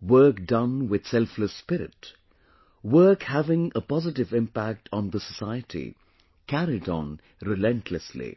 work done with selfless spirit, work having a positive impact on the society – carried on relentlessly